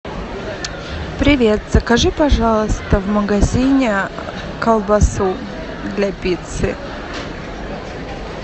привет закажи пожалуйста в магазине колбасу для пиццы